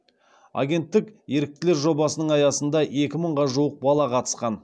агенттік еріктілер жобасының аясында екі мыңға жуық бала қатысқан